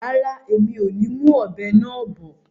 Rárá, mi ò ní mú ọ̀bẹ náà bọ̀